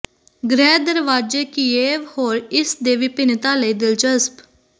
ਗ੍ਰਹਿ ਦਰਵਾਜ਼ੇ ਕਿਯੇਵ ਹੋਰ ਇਸ ਦੇ ਵਿਭਿੰਨਤਾ ਲਈ ਦਿਲਚਸਪ